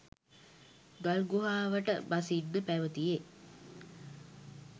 ගල්ගුහාවට බසින්න පැවතියේ